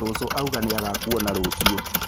Cũcũ auga nĩ agakuona rũciũ